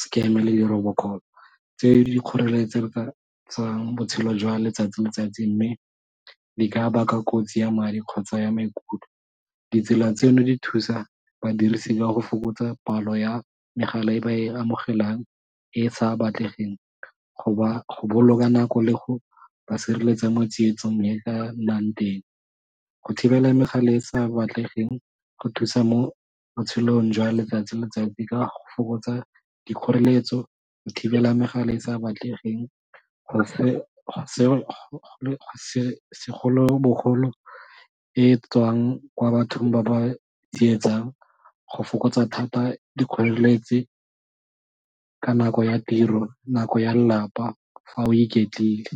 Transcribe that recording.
scam le di robot call tse di dikgoreletsang botshelo jwa letsatsi le letsatsi mme di ka baka kotsi ya madi kgotsa ya maikutlo. Ditsela tseno di thusa badirisi ka go fokotsa palo ya megala e ba e amogelang e e sa batlegeng go ba go boloka nako le go ba sireletsa mo tsietsong e ka nnang teng, go thibela megala e e sa batlegeng go thusa mo botshelong jwa letsatsi le letsatsi ka go fokotsa dikgoreletso go thibela megala e e sa batlegeng segolobogolo e tswang kwa bathong ba ba tsietsang go fokotsa thata dikgoreletsi ka nako ya tiro, nako ya lelapa fa o iketlile.